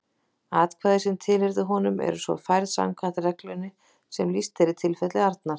Atkvæði sem tilheyrðu honum eru svo færð samkvæmt reglunni sem lýst er í tilfelli Arnar.